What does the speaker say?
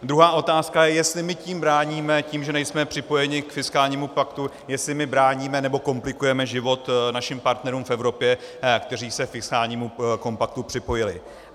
Druhá otázka je, jestli my tím bráníme, tím, že nejsme připojeni k fiskálnímu paktu, jestli my bráníme nebo komplikujeme život našim partnerům v Evropě, kteří se k fiskálnímu kompaktu připojili.